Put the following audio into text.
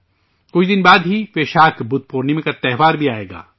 کچھ دن بعد ہی ویشاکھ بدھ پورنیما کا تہوار بھی آئے گا